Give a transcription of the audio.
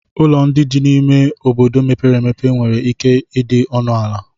Ụlọ ndị dị n'ime ime obodo mepere emepe nwere ike ịdị ọnụ ala